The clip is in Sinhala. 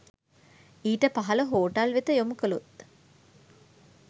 ඊට පහළ හෝටල් වෙත යොමු කළොත්